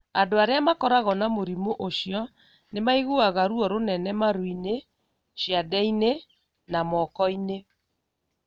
Andũ arĩa makoragwo na mũrimũ ũcio nĩ maiguaga ruo rũnene marũ-inĩ, ciande-inĩ, na moko-inĩ.